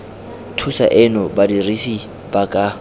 thuso eno badirisi ba ka